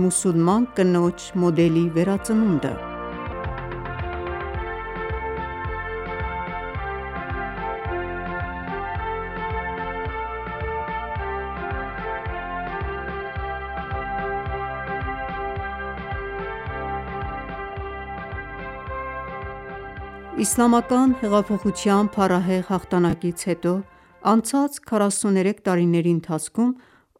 մուսուլման կնոջ մոդելի վերածնունդը (4․Նվիրված այգաբացի տասնօրյակին) Փետրվար 05, 2022 11:29 Asia/Tehran Իսլամական հեղափոխության փառահեղ հաղթանակից հետո անցած 43 տարիների ընթացքում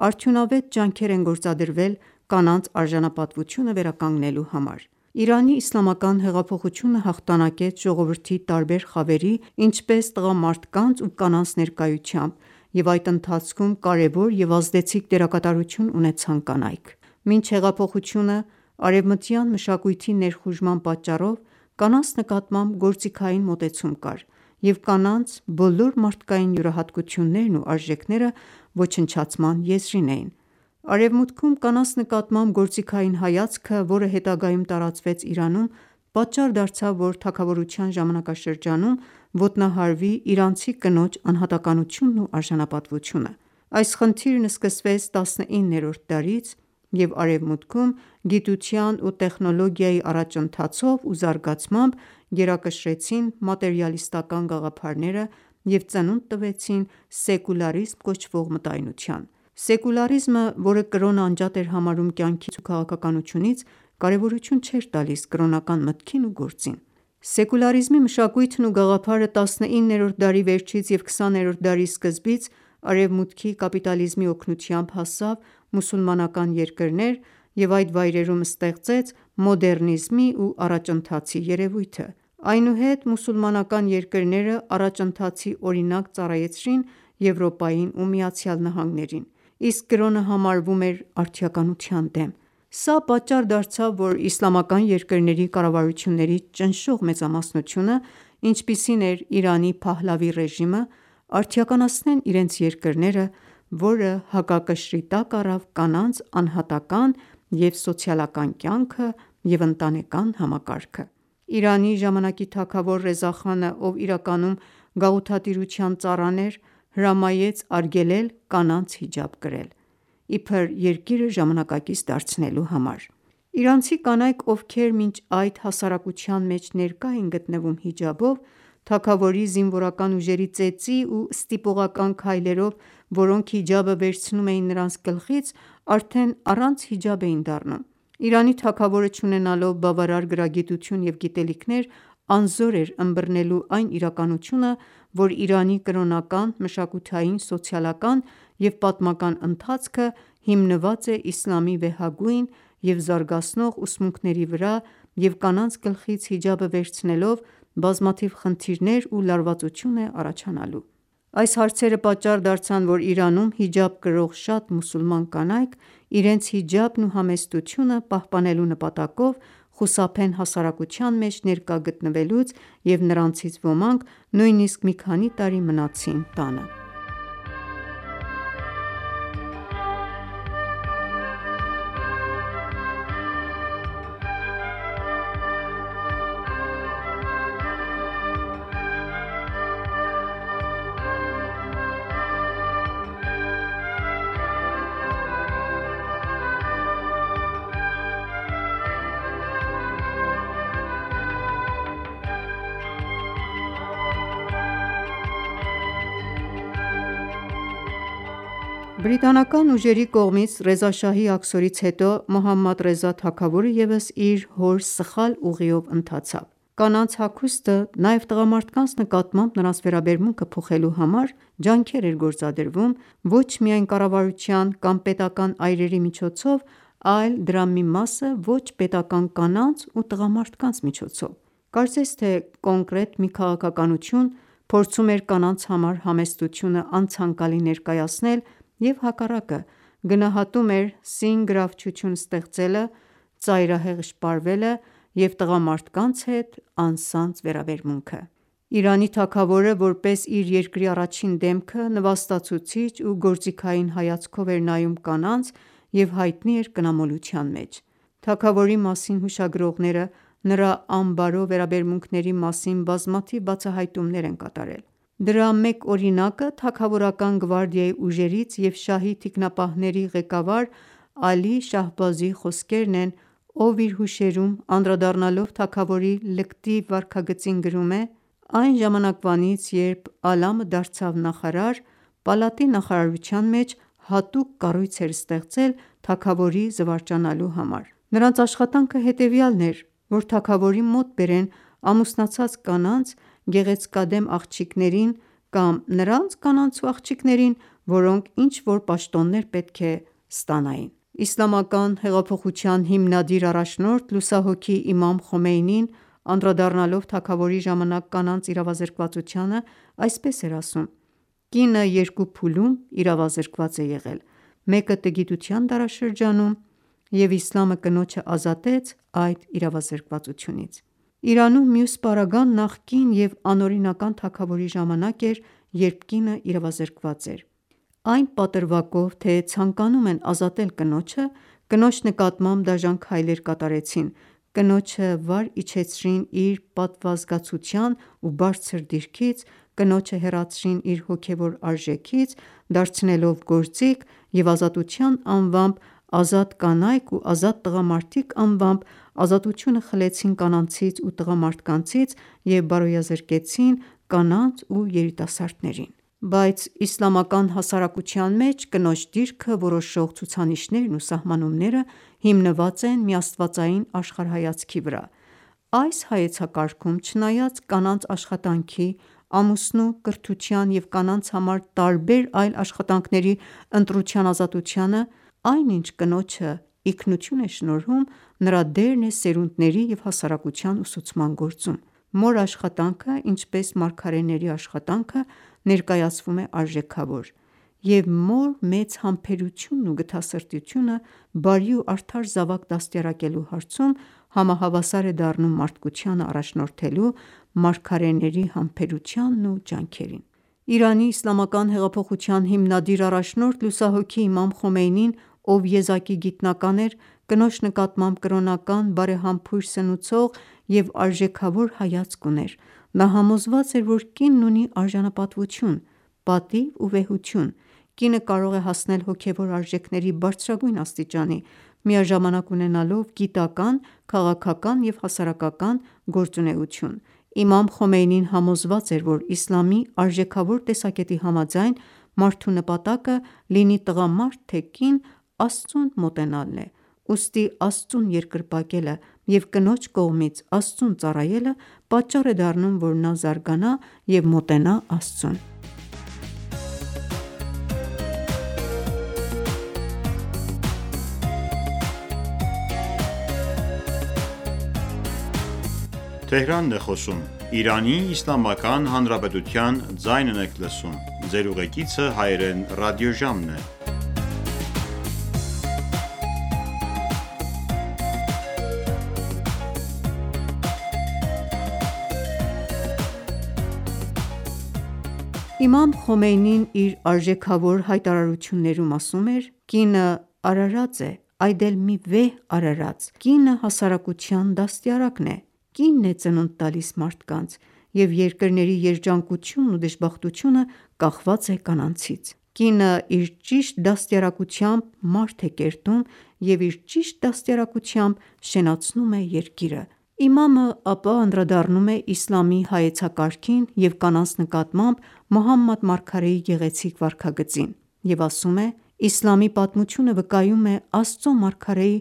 արդյունավետ ջանքեր են գործադրվել կանանց արժանապատվությունը վերականգնելու համար։ Իրանի Իսլամական հեղափոխությունը հաղթանակեց ժողովրդի տարբեր խավերի ինչպես՝ տղամարդկանց ու կանանց ներկայությամբ, և այդ ընթացքում կարևոր և ազդեցիկ դերակատարություն ունեցան կանայք։ Մինչ հեղափոխությունը, արևմտյան մշակույթի ներխուժման պատճառով, կանանց նկատմամբ գործիքային մոտեցում կար և կանանց բոլոր մարդկային յուրահատկություններն ու արժեքները ոչնչացման եզրին էին։ Արևմուտքում, կանանց նկատմամբ գործիքային հայացքը, որը հետագայում տարածվեց Իրանում, պատճառ դարձավ ,որ թագավորության ժամանակաշրջանում ոտնահարվի իրանցի կնոջ անհատականությունն ու արժանապատվությունը: Այդ խնդիրը սկսվեց 19-րդ դարից և արևմուտքում գիտության ու տեխնոլոգիայի առաջընթացով ու զարգացմամբ ,գերակշռեցին մատերիալիստական ​​գաղափարները և ծնունդ տվեցին սեկուլարիզմ կոչվող մտայնության :Սեկուլարիզմը ,որը կրոնը անջատ էր համարում կյանքից ու քաղաքականությունից ,կարևորություն չէր տալիս կրոնական մտքին ու գործին: Սեկուլարիզմի մշակույթն ու գաղափարը 19-րդ դարի վերջից և 20-րդ դարի սկզբից արևմուտքի կապիտալիզմի օգնությամբ հասավ մուսուլմանալան երկրներ և այդ վայրերում ստեղծեց մոդեռնիզմի ու առաջընթացի երևույթը:Այնուհետ, մուսուլմանական երկրները առաջընթացի օրինակ ծառայեցրին Եվրոպային ու ԱՄՆ-ին, իսկ կրոնը համարվում էր արդիականության դեմ:Սա պատճառ դարձավ, որ իսլամական երկրների կառավարությունների ճնշող մեծամասնությունը, ինչպիսին էր՝ Իրանի Փահլավի ռեժիմը, արդիականացնեն իրենց երկրները ,որը հակակշռի տակ առավ կանանց անհատական ​​և սոցիալական կյանքը և ընտանեկան համակարգը: Իրանի ժամանակի թագավոր Ռեզա խանը, ով իրականում գաղութատիրության ծառան էր, հրամայեց արգելել կանանց հիջաբ կրել, իբր երկիրը ժամանակակից դարձնելու համար: Թագավորի կինն ու աղջիկները առանց հիջաբի Իրանցի կանայք, ովքեր մինչ այդ հասարակության մեջ ներկա էին գտնվում հիջաբով, թագավորի զինվորական ուժերի ծեծի ու ստիպողական քայլերով, որոնք հիջաբը վերցնում էին նրանց գլխից ,արդեն առանց հիջաբ էին դառնում: Իրանի թագավորը չունենալով բավարար գրագիտություն և գիտելիքներ՝ անզոր էր ընբռնելու այն իրականությունը, որ Իրանի կրոնական, մշակութային, սոցիալական և պատմական ընթացքը հիմնված է իսլամի վեհագույն և զարգացնող ուսմունքների վրա և կանանց գլխից հիջաբը վերցնելով ,բազմաթիվ խնդիրներ ու լարվածություն է առաջանալու: Այս հարցերը պատճառ դարձան, որ Իրանում հիջաբ կրող շատ մուսուլման կանայք, իրենց հիջաբն ու համեստությունը պահպանելու նպատակով խուսափեն հասարակության մեջ ներկա գտնվելուց և նրանցից ոմանք նույնիսկ մի քանի տարի մնացին տանը: Բրիտանական ուժերի կողմից Ռեզա շահի աքսորից հետո, Մոհամմադ Ռեզա թագավորը ևս իր հոր սխալ ուղիով ընթացավ: Կանանց հագուստը ,նաև տղամարդկանց նկատմամբ նրանց վերաբերմունքը փոխելու համար ջանքեր էր գործադրվում, ոչ միայն կառավարության ,կամ պետական այրերի միջոցով ,այլ դրա մի մասը ոչ պետական կանանց ու տղամարդկանց միջոցով: Կարծես թե՝ կոնկրետ մի քաղաքականություն, փորձում էր կանանց համար համեստությունը անցանկալի ներկայացնել և հակառակը, գնահատում էր՝սին գրավչություն ստեղծելը, ծայրահեղ շպարվելը և տղամարդկանց հետ անսանձ վերաբերմունքը: Իրանի թագավորը, որպես իր երկրի առաջին դեմքը, նվաստացուցիչ ու գործիքային հայացքով էր նայում կանանց և հայտնի էր կնամոլության մեջ: Թագավորի մասին հուշագրողները ,նրա անբարո վերաբերմունքների մասին բազմաթիվ բացահայտումներ են կատարել: Դրա մեկ օրինակը թագավորական գվարդիայի ուժերից և շահի թիկնապահների ղեկավար Ալի Շահբազիի խոսքերն են ,ով իր հուշերում ,անդրադառնալով թագավորի լկտի վարքագծին գրում է.«Այն ժամանակվանից ,երբ Ալամը դարձավ նախարար ,պալատի նախարարության մեջ հատուկ կառույց էր ստեղծել թագավորի զվարճանալու համար...նրանց աշխատանքը հետևյալն էր ,որ թագավորի մոտ բերեն ամուսնացած կանանց, գեղեցկադեմ աղջիկներին ,կամ նրանց կանանց ու աղջիկներին ,որոնք ինչ որ պաշտոններ պետք է ստանային»: Իսլամական հեղափոխության հիմնադիր առաջնորդ լուսահոգի Իմամ Խոմեյնին անդրադառնալով թագավորի ժամանակ կանանց իրավազրկվածությանը, այսպես էր ասում.«Կինը երկու փուլում իրավազրկված է եղել, մեկը տգիտության դարաշրջանում, և իսլամը կնոջը ազատեց այդ իրավազրկվածությունից: Իրանում, մյուս պարագան ,նախկին և անօրինական թագավորի ժամանակ էր երբ կինը իրավազրկված էր: Այն պատրվակով թե՝ ցանկանում են ազատել կնոջը ,կնոջ նկատմամբ դաժան քայլեր կատարեցին, կնոջը վար իջեցրին իր պատվազգացության ու բարձր դիրքից ,կնոջը հեռացրին իր հոգևոր արժեքից ,դարձնելով գործիք և ազատության անվամբ՝ազատ կանայք ու ազատ տղամարդիկ անվամբ, ազատությունը խլեցին կանանցից ու տղամարդկանցից և բարոյազրկեցին մեր կանանց ու երիտասարդներին ...» (Սահիֆե նուր 6-րդ հատոր): Բայց իսլամական հասարակության մեջ, կնոջ դիրքը որոշող ցուցանիշներն ու սահմանումները հիմնված են միաստվածային աշխարհայացքի վրա:Այս հայեցակարգում, չնայած կանանց աշխատանքի, ամուսնու, կրթության և կանանց համար տարբեր այլ աշխատանքների ընտրության ազատությանը, այն ինչ կնոջը ինքնություն է շնորհում, նրա դերն է սերունդների և հասարակության ուսուցման գործում:Մոր աշխատանքը ,ինչպես մարգարեների աշխատանքը ներկայացվում է արժեքավոր,և մոր մեծ համբերությունն ու գթասրտությունը բարի ու արդար զավակ դաստիարակելու հարցում համահավասար է դառնում մարդկությանը առաջնորդելու՝ մարգարեների համբերությանն ու ջանքերին։ Իրանի Իսլամական հեղափոխության հիմնադիր առաջնորդ լուսահոգի Իմամ Խոմեյնին, ով եզակի գիտնական էր, կնոջ նկատմամբ կրոնական, բարեհամբույր, սնուցող և արժեքավոր հայացք ուներ:Նա համոզված էր, որ «կինն» ունի արժանապատվություն, պատիվ ու վեհություն: Կինը կարող է հասնել հոգևոր արժեքների բարձրագույն աստիճանի՝ միաժամանակ ունենալով գիտական, քաղաքական և հասարակական գործունեություն:Իմամ Խոմեյնին համոզված էր, որ Իսլամի արժեքավոր տեսակետի համաձայն, մարդու նպատակը, լինի տղամարդ թե ՝կին, Աստծուն մոտենալն է,ուստի Աստծուն երկրպագելը և կնոջ կողմից Աստծուն ծառայելը պատճառ է դառնում, որ նա զարգանա և մոտենա Աստծուն: Իմամ Խոմեյնին, իր արժեքավոր հայտարարություններում ասում էր.«Կինը արարած է,այդ էլ մի վեհ արարած, կինը հասարակության դաստիարակն է: Կինն է ծնունդ տալիս մարդկանց...և երկրների երջանկությունն ու դժբախտությունը կախված է կանանցից: Կինը իր ճիշտ դաստիարակությամբ ,մարդ է կերտում և իր ճիշտ դաստիարակությամբ շենացնում է երկիրը»: Իմամը ,ապա անդրադառնում է իսլամի հայեցակարգին և կանանց նկատմամբ Մոհամմադ Մարգարեի գեղեցիկ վարքագծին և ասում է.«Իսլամի պատմությունը վկայում է Աստծու մարգարեի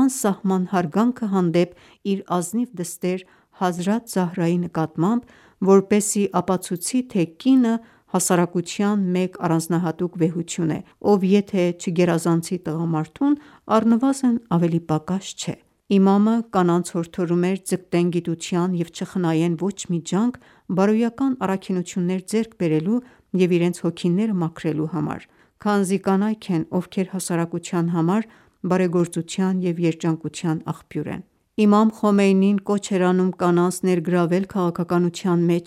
անսահման հարգանքը հանդեպ իր ազնիվ դստեր Հազրաթ Զահրայի նկատմամբ, որպեսզի ապացուցի թե՝,կինը հասարակության մեջ առանձնահատուկ վեհություն է, ով եթե չգերազանցի տղամարդուն ,առնվազն ավելի պակաս չէ»: Իմամը, կանանց՝հորդորում էր ՝ ձգտեն գիտության և չխնայեն ոչ մի ջանք բարոյական առաքինություններ ձեռք բերելու և իրենց հոգիները մաքրելու համար ,քանզի կանայք են, ովքեր հասարակության համար բարեգործության և երջանկության աղբյուր են:Իմամ Խոմեյնին կոչ էր անում կանանց ներգրավվել քաղաքականության մեջ,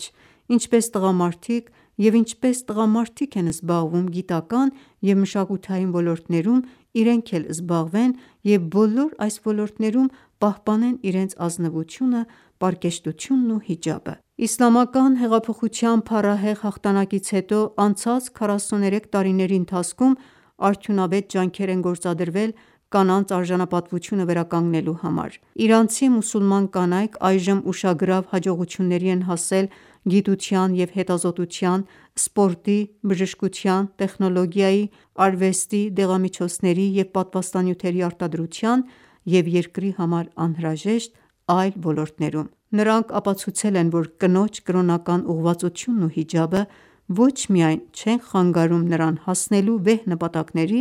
ինչպես տղամարդիկ, և ինչպես տղամարդիկ են զբաղվում գիտական ​​և մշակութային ոլորտներում-իրենք էլ զբաղվեն ,և բոլոր այս ոլորտներում պահպանեն իրենց ազնվությունը ,պարկեշտությունն ու հիջաբը: Իսլամական հեղափոխության փառահեղ հաղթանակից հետո անցած 43 տարիների ընթացքում ,արդյունավետ ջանքեր են գործադրվել կանանց արժանապատվությունը վերականգնելու համար։ Իրանցի մուսուլման կանայք այժմ ուշագրավ հաջողությունների են հասել գիտության և հետազոտության, սպորտի, բժշկության, տեխնոլոգիայի, արվեստի, դեղամիջոցների և պատվաստանյութերի արտադրության և երկրի համար անհրաժեշտ այլ ոլորտներում:Նրանք ապացուցել են, որ կնոջ կրոնական ուղղվածությունն ու հիջաբը ոչ միայն չեն խանգարում նրան հասնելու վեհ նպատակների,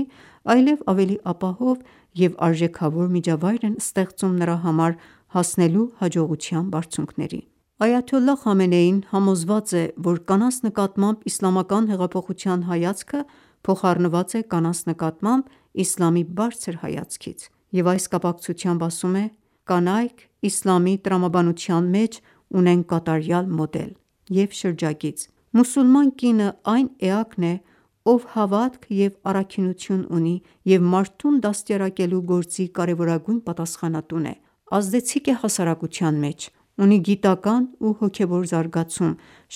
այլև ավելի ապահով և արժեքավոր միջավայր են ստեղծում նրա համար՝ հասնելու հաջողության բարձունքներին: Այաթոլլահ Խամենեին, համոզված է ,որ կանանց նկատմամբ Իսլամական հեղափոխության հայացքը փոխառնված է կանանց նկատմամբ իսլամի բարձր հայացքից և այս կապակցությամբ ասում է.«Կանայք ,իսլամի տրամաբանության մեջ ունեն կատարյալ մոդել և շրջագիծ, մուսուլման կինը այն էակն է,ով հավատք և առաքինություն ունի և մարդուն դաստիարակելու գործի կարևորագույն պատասխանատուն է, ազդեցիկ է հասարակության մեջ ,ունի գիտական ու հոգեւոր զարգացում,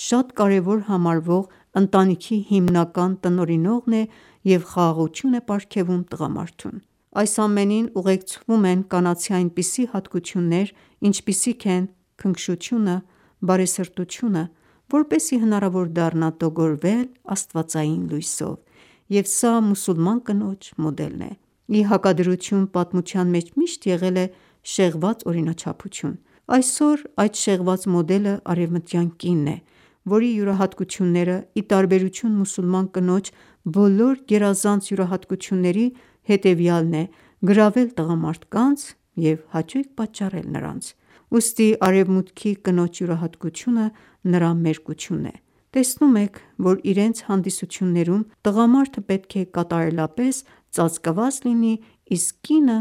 շատ կարևոր համարվող՝ընտանիքի հիմնական տնօրինողն է և խաղաղություն է պարգևում տղամարդուն:Այս ամենին ուղեկցվում են կանացի այնպիսի հատկություններ, ինչպիսիք են՝ քնքշությունը, բարեսրտությունը ,որպեսզի հնարավոր դառնա տոգորվել աստվածային լույսով:Եվ սա մուսուլման կնոջ մոդելն է։Ի հակադրություն, պատմության մեջ միշտ եղել է շեղված օրինաչափություն, այսօր այդ շեղված մոդելը արևմտյան կինն է ,որի յուրահատկությունները ,ի տարբերություն մուսուլման կնոջ բոլոր գերազանց յուրահատկությունների ,հետևեալն է ՝գրավել տղամարդկանց և հաճույք պատճառել նրանց: Ուստի արևմուտքի կնոջ յուրահատկությունը ,նրա մերկությունն է: Տեսնում եք ,որ իրենց հանդիսություններում տղամարդը պետք է կատարելապես ծածկված լինի, իսկ կինը